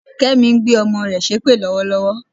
Kẹ́mi ń gbé ọmọ rẹ̀ ṣépè lọ́wọ́lọ́wọ́